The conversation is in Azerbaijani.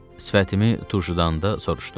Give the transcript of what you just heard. Sifətimi turşudanda soruşdu: